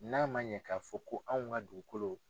N'a man ɲɛ ka fɔ ko anw ka dugukolo.